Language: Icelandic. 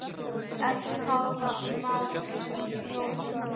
eftir Pál Marvin Jónsson